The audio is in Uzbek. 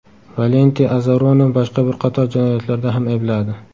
Valenti Azaroni boshqa bir qator jinoyatlarda ham aybladi.